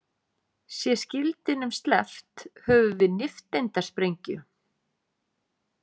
Sé skildinum sleppt höfum við nifteindasprengju.